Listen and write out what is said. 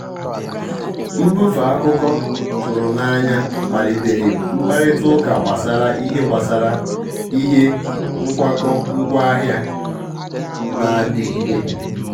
mbùfè akụ́kọ́ tụ́rụ̀ n'anya kpàlìtèrè mkpàrị́tà ụ́kà gbasara ìhè gbasara ìhè nkwàkọ́ ngwáàhị̀à nà-àdìgídè.